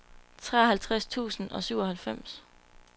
treoghalvtreds tusind og syvoghalvfems